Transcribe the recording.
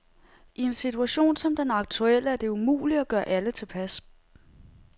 I en situation som den aktuelle er det umuligt at gøre alle tilpas.